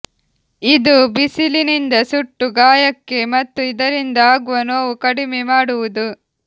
ಇದು ಬಿಸಿಲಿನಿಂದ ಸುಟ್ಟು ಗಾಯಕ್ಕೆ ಮತ್ತು ಇದರಿಂದ ಆಗುವ ನೋವು ಕಡಿಮೆ ಮಾಡುವುದು